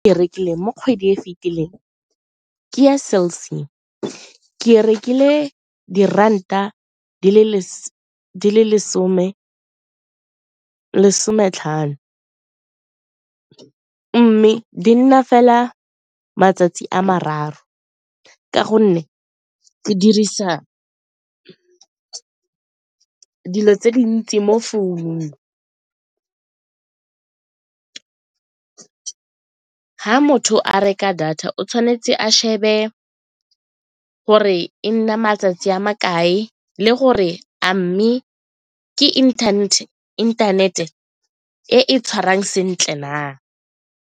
E rekileng mo kgwedi e fitileng ke ya Cell C, ke rekile diranta di le lesome sometlhano mme di nna fela matsatsi a mararo ka gonne dirisa dilo tse dintsi mo founung. Ga motho a reka data o tshwanetse a shebe gore e nna matsatsi a makae le gore a mme ke internet-e e e tshwarang sentle na.